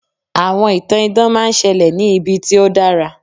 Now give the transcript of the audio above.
àwọn ìtàn idán ma n ṣẹlẹ ní ibi tí o dara